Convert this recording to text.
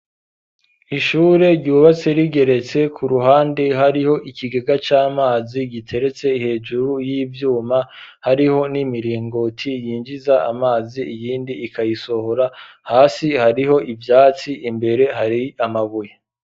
Ishure ryubatse rigeretse ku ruhande hariho ikigega c,amazi giteretse hejuru y'ivyuma ,hariho n'imiringoti yinjiza amazi iyindi ikayisohora ,hasi hariho ivyatsi imbere hari amabuye.